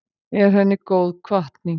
Er henni góð hvatning.